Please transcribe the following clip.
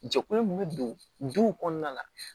Jɛkulu min bɛ don duw kɔnɔna la